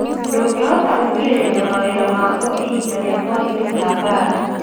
Ndũngĩhota gũkirĩrĩria mawĩra maguo ihinda rĩa moritũ ta mbaara